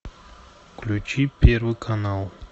включи первый канал